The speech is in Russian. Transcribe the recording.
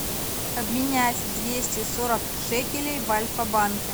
обменять двести сорок шекелей в альфа банке